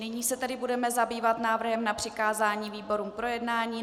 Nyní se tedy budeme zabývat návrhem na přikázání výborům k projednání.